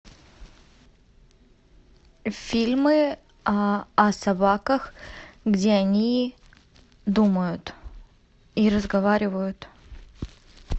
фильмы о собаках где они думают и разговаривают